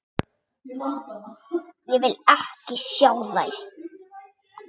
Ég vil ekki sjá þær.